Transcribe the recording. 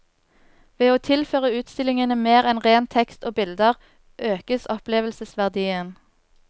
Ved å tilføre utstillingene mer enn ren tekst og bilder økes opplevelsesverdien.